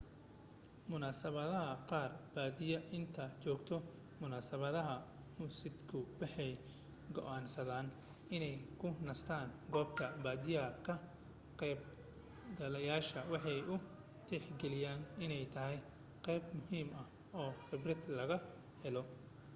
munaasibadaha qaar badiyaa inta joogta munasibadaha musikadu waxay go'aansadaan inay ku nastaan goobta badiyaa ka qaybgaleyaashu waxay u tixgaliyaan inay tahay qayb muhiim ah oo khibrad laga helo